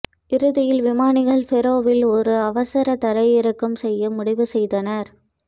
இறுதியில் விமானிகள் ஃபெரோவில் ஒரு அவசர தரையிறக்கம் செய்ய முடிவு செய்தனர்